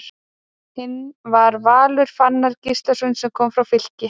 Hinn var Valur Fannar Gíslason sem kom frá Fylki.